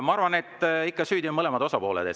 Ma arvan, et ikka süüdi on mõlemad osapooled.